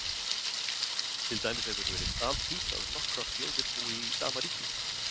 Til dæmis hefur verið altítt að nokkrar þjóðir búi í sama ríki.